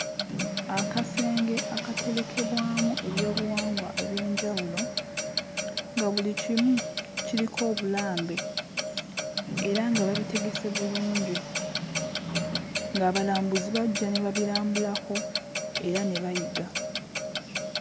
Akasenge akaterekebwamu ebyobuwangwa eby'enjawulo nga buli kimu kiriko obulambe era nga babitegese bulungi ng'abalambuzi bajja ne babirambulako era ne bayiga.